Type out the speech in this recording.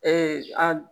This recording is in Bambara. an